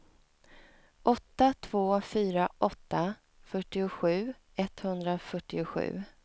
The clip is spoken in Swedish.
åtta två fyra åtta fyrtiosju etthundrafyrtiosju